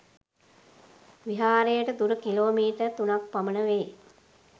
විහාරයට දුර kilometre තුනක් පමණ වේ.